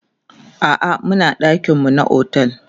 a'a Muna ɗakin mu na otel